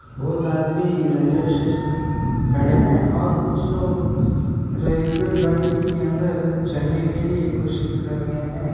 बहुत आदमी रेल्वेस्टेशन खड़े है और कुछ लोग रेल्वे बंडी के अंदर चेन्नई के लिए कोशिश कर रहे है।